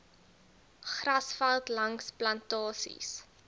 grasveld langs plantasies